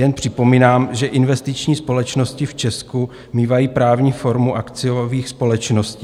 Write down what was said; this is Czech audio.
Jen připomínám, že investiční společnosti v Česku mívají právní formu akciových společností.